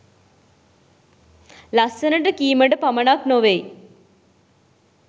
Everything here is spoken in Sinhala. ලස්සනට කීමට පමණක් නොවෙයි.